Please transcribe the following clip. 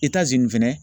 nin fɛnɛ